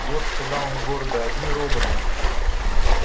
вот сказал он гордо одни роботы